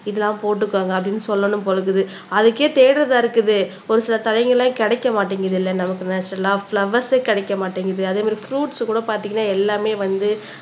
இதெல்லாம் போட்டுக்கோங்க அப்படின்னு சொல்லணும் போல இருக்குது அதுக்கே தேடறதா இருக்குது ஒரு சில தளைங்கெல்லாம் கிடைக்க மாட்டேங்குதுல்ல நமக்கு நேச்சரல்லா பிலோவேர்ரே கிடைக்க மாட்டேங்குது அதே மாதிரி பிருய்ட்ஸ் கூட பார்த்தீங்கன்னா எல்லாமே வந்து